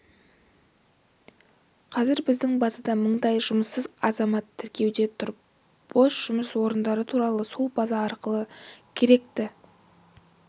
қазір біздің базада мыңдай жұмыссыз азамат тіркеуде тұр бос жұмыс орындары туралы сол база арқылы керекті